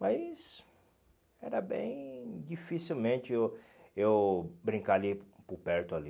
Mas era bem dificilmente eu eu brincar ali por perto ali.